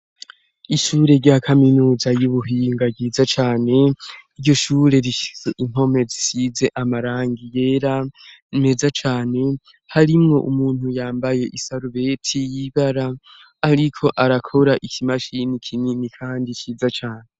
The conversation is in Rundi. Ishure rya kaminuza y'ubuhinga ryiza cane, iryo shure rifise impome zisize amarangi yera meza cane, harimwo umuntu yambaye isarubeti y'ibara ariko arakora ikimashini kinini kandi ciza cane.